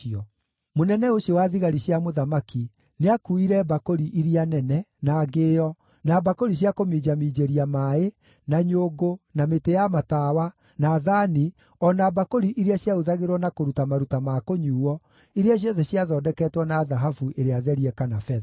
Mũnene ũcio wa thigari cia mũthamaki nĩakuuire mbakũri iria nene, na Ngĩo, na mbakũri cia kũminjaminjĩria maaĩ, na nyũngũ, na mĩtĩ ya matawa, na thaani, o na mbakũri iria ciahũthagĩrwo na kũruta maruta ma kũnyuuo, iria ciothe ciathondeketwo na thahabu ĩrĩa therie kana betha.